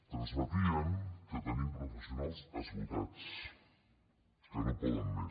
transmetien que tenim professionals esgotats que no poden més